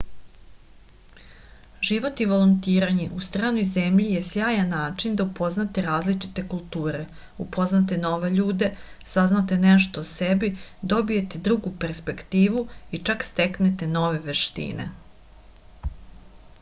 život i volontiranje u stranoj zemlji je sjajan način da upoznate različite kulture upoznate nove ljude saznate nešto o sebi dobijete drugu perspektivu i čak steknete nove veštine